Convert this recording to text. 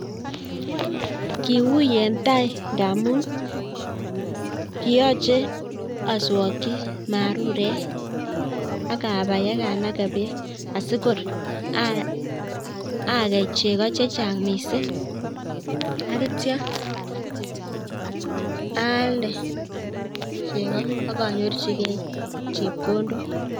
Kiu en tai ngamun kioche aswokchi marurek ak abai ak anagee beek sikoragei chegoo chechang missing ak ityoo alde chegoo ak anyorchigei chepkondok